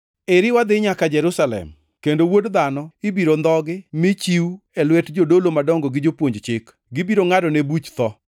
“Eri wadhi nyaka Jerusalem, kendo Wuod Dhano ibiro ndhogi mi chiw e lwet jodolo madongo gi jopuonj chik. Gibiro ngʼadone buch tho,